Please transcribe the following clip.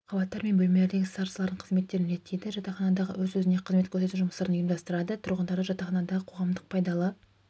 қабаттар мен бөлмелердегі старосталардың қызметтерін реттейді жатақханадағы өз-өзіне қызмет көрсету жұмыстарын ұйымдастырады тұрғындарды жатақханадағы қоғамдық пайдалы